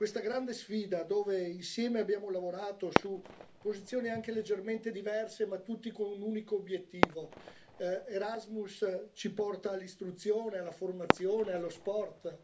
Questa è la grande sfida alla quale abbiamo lavorato insieme, su posizioni anche leggermente diverse, ma tutti con un unico obiettivo l'Erasmus ci porta all'istruzione, alla formazione e allo sport.